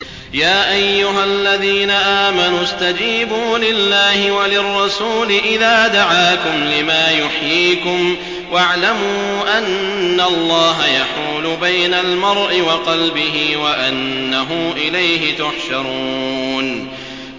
يَا أَيُّهَا الَّذِينَ آمَنُوا اسْتَجِيبُوا لِلَّهِ وَلِلرَّسُولِ إِذَا دَعَاكُمْ لِمَا يُحْيِيكُمْ ۖ وَاعْلَمُوا أَنَّ اللَّهَ يَحُولُ بَيْنَ الْمَرْءِ وَقَلْبِهِ وَأَنَّهُ إِلَيْهِ تُحْشَرُونَ